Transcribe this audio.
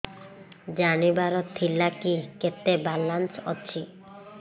ଜାଣିବାର ଥିଲା କି କେତେ ବାଲାନ୍ସ ଅଛି